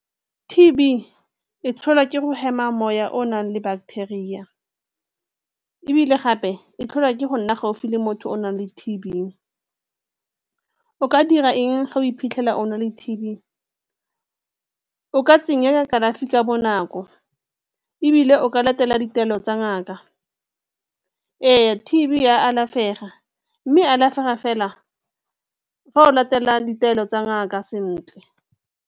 T_B e tlholwa ke gore hema moya o o nang le bacteria ebile gape e tlholwa ke go nna gaufi le motho o o nang le T_B. O ka dira eng ga o iphitlhela o na le T_B? O ka tsenela kalafi ka bonako ebile o ka latela ditaelo tsa ngaka. Ee, T_B e a alafega mme e alafega fela fa o latela ditaelo tsa ngaka sentle.